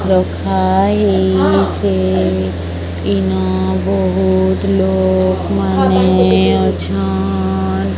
ଦେଖ ଏଇ ସେ ଇନ ବହୁତ ଲୋକ ମାନେ ଅଛନ।